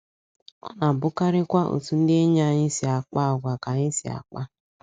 Ọ na - abụkarịkwa otú ndị enyi anyị si akpa si akpa àgwà ka anyị si akpa.